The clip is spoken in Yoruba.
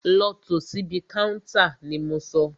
Lọ tò síbi káúntá ni mo sọ!